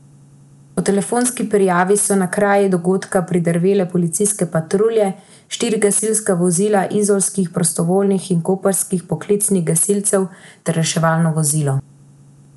Po telefonski prijavi so na kraj dogodka pridrvele policijske patrulje, štiri gasilska vozila izolskih prostovoljnih in koprskih poklicnih gasilcev ter reševalno vozilo.